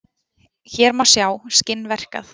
hér má sjá skinn verkað